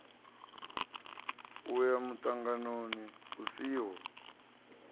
u ya muṱanganoni u siho